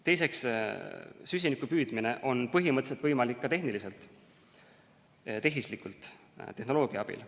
Süsinikupüüdmine on põhimõtteliselt võimalik ka tehniliselt, tehislikult, tehnoloogia abil.